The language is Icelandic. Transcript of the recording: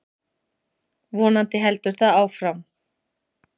Vonandi heldur það áfram.